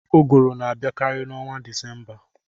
Ụgụrụ na-abịakarị n'ọnwa Desemba.